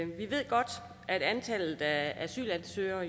vi ved godt at antallet af asylansøgere